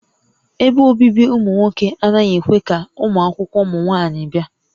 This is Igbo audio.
Ebe obibi ụmụ nwoke anaghị ekwe ka ụmụakwụkwọ ụmụ nwaanyị bịa